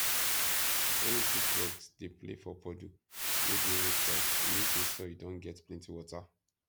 when you see frogs dey play for puddle wey dey roadside e mean say soil don get plenty water